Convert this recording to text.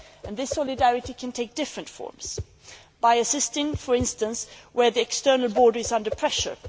This solidarity can take different forms by assisting, for instance, where the external border is under pressure.